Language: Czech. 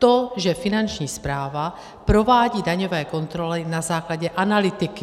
To, že Finanční správa provádí daňové kontroly na základě analytiky.